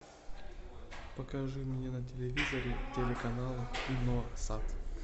покажи мне на телевизоре телеканал киносат